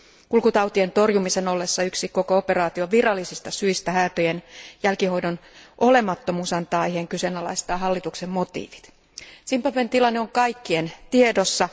Kulkutautien torjumisen ollessa yksi koko operaation virallisista syistä, häätöjen jälkihoidon olemattomuus antaa aiheen kyseenalaistaa hallituksen motiivit. Zimbabwen tilanne on kaikkien tiedossa.